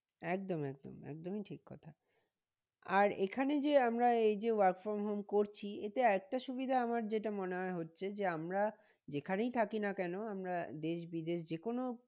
একদম একদম একদমই ঠিক কথা আর এখানে যে আমরা এই যে work from home করছি এটা একটা সুবিধা আমার যেটা মনে হয় হচ্ছে যে আমরা যেখানেই থাকি না কেন আমরা দেশ বিদেশ যে কোনো